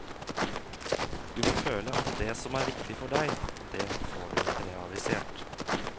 Du må føle at det som er viktig for deg, det får du realisert.